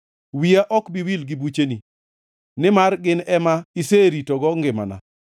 Wiya ok bi wil gi bucheni, nimar gin ema iseritogo ngimana.